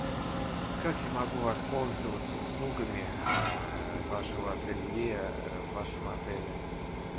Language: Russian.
как я могу воспользоваться услугами вашего ателье в вашем отеле